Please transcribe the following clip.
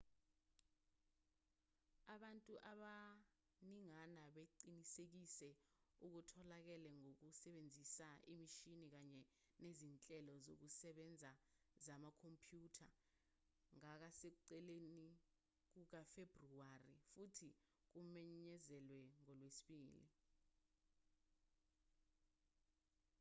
abantu abaningana baqinisekise okutholakele ngokusebenzisa imishini kanye nezinhlelo zokusebenza zamakhompyutha ngasekuqaleni kukafebruwari futhi kumenyezelwe ngolwesibili